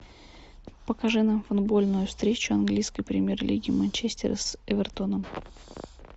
покажи нам футбольную встречу английской премьер лиги манчестера с эвертоном